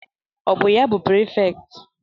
Ọ bụ ya bụ prifekt?